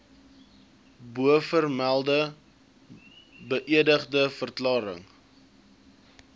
bovermelde beëdigde verklarings